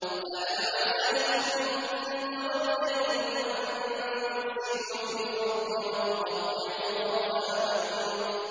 فَهَلْ عَسَيْتُمْ إِن تَوَلَّيْتُمْ أَن تُفْسِدُوا فِي الْأَرْضِ وَتُقَطِّعُوا أَرْحَامَكُمْ